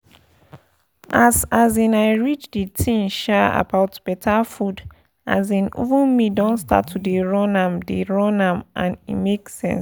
as um i read the thing um about better food um even me don start to dey run am dey run am and e make sense